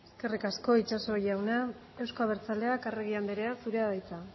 eskerrik asko itxaso jauna euzko abertzaleak arregi andrea zurea da hitza